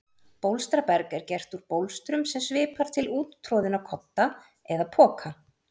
Bólstraberg er gert úr bólstrum sem svipar til úttroðinna kodda eða poka.